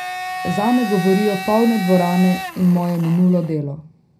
Zame govorijo polne dvorane in moje minulo delo.